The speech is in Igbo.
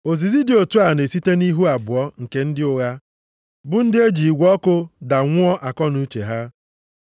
Ozizi dị otu a na-esite nʼihu abụọ nke ndị ụgha, bụ ndị eji igwe ọkụ da nwụọ akọnuche ha.